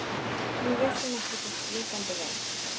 Nú vissi hún ekki sitt rjúkandi ráð.